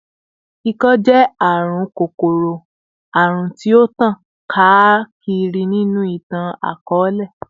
Ikọ-ẹjẹ jẹ arun kokoro-arun ti o tan kaakiri ninu itan-akọọlẹ